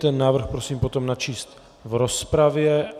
Ten návrh potom prosím načíst v rozpravě.